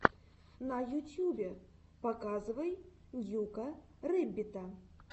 в ютьюбе показывай ньюка рэббита